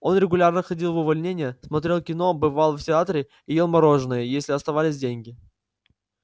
он регулярно ходил в увольнения смотрел кино бывал в театре и ел мороженое если оставались деньги